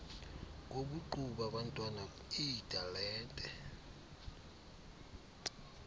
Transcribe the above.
kobuqu babantwana iitalente